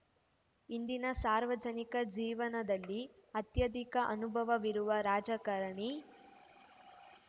ಇಂದಿನ ಸಾರ್ವಜನಿಕ ಜೀವನದಲ್ಲಿ ಅತ್ಯಧಿಕ ಅನುಭವವಿರುವ ರಾಜಕಾರಣಿ